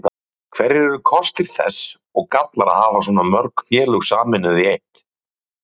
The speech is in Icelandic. Hverjir eru kostir þess og gallar að hafa svona mörg félög sameinuð í eitt?